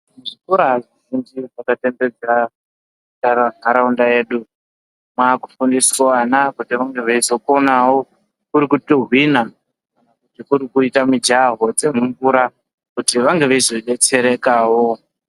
Zvikora zvinofundiswe papapebherawo ndara ntaraunda yedu kwakufundiswe ana kude kuti veizokonawo kuri kutuhwina kuru kuita mujaho dzemumvura kuti vange veizo detserekawo.